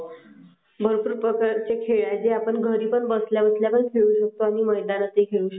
भरपूर प्रकारचे खेळ आहे म्हणजे आपण घरामध्ये पण खेळू शकतो आणि मैदानामध्ये पण खेळू शकतो.